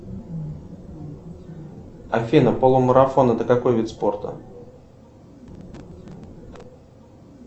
афина полумарафон это какой вид спорта